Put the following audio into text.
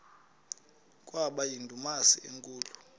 kwaba yindumasi enkulu